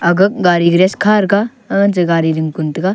aga gari garage kha thaga hancha gari ding kun taga.